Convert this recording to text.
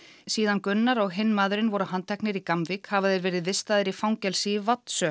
síðan Gunnar og hinn maðurinn voru handteknir í hafa þeir verið vistaðir í fangelsi í